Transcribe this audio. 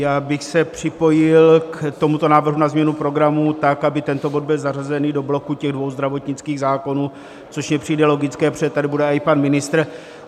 Já bych se připojil k tomuto návrhu na změnu programu, tak aby tento bod byl zařazený do bloku těch dvou zdravotnických zákonů, což mně přijde logické, protože tady bude i pan ministr.